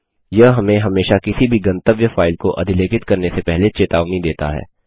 यह हमें हमेशा किसी भी गंतव्य फाइल को अधिलेखित करने से पहले चेतावनी देता है